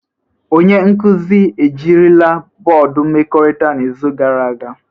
Onye nkuzi ejirila bọọdụ mmekọrịta n'izu gara aga?